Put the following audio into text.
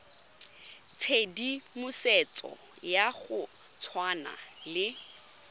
tshedimosetso ya go tshwana le